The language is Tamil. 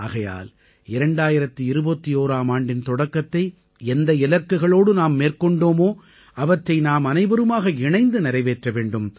ஆகையால் 2021ஆம் ஆண்டின் தொடக்கத்தை எந்த இலக்குகளோடு நாம் மேற்கொண்டோமோ அவற்றை நாமனைவருமாக இணைந்து நிறைவேற்ற வேண்டும்